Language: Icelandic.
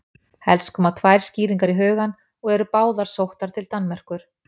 helst koma tvær skýringar í hugann og eru báðar sóttar til danmerkur